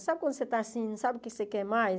Sabe quando você está assim, não sabe o que você quer mais?